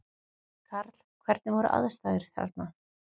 Karl: Hvernig voru aðstæður þarna?